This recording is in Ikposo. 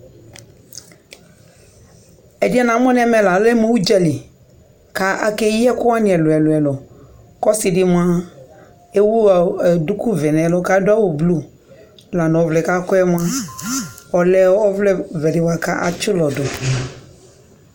ɛdiɛ namo no ɛmɛ la alɛ mo udzali ko akeyi ɛko wani ɛlo ɛlo ɛlo ko ɔsi di moa ewu duku vɛ no ɛlo ko ado awu blue ɔvlɛ ko akɔ moa ɔlɛ ɔvlɛ vɛ di boa ko atsi ulɔ do